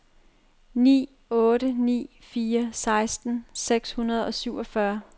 ni otte ni fire seksten seks hundrede og syvogfyrre